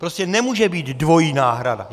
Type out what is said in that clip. Prostě nemůže být dvojí náhrada.